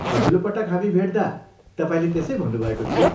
अघिल्लो पटक हामी भेट्दा तपाईँले त्यसै भन्नुभएको थियो।